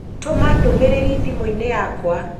Tũma ndũmĩrĩri thimũ-inĩ yakwa